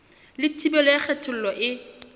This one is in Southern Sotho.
le thibelo ya kgethollo e